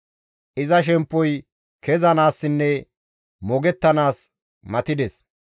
Iza shemppoy kezanaassinne moogettanaas matides.